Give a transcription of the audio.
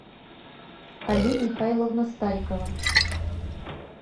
али михайловна старикова